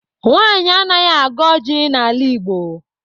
Nwanyị anaghị agọ ọjị n'ala Igbo.